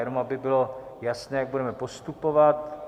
Jenom aby bylo jasné, jak budeme postupovat.